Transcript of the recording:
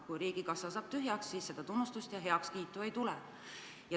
Kui riigikassa saab tühjaks, siis tunnustust ja heakskiitu ei tule.